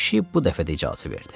Pişik bu dəfə də icazə verdi.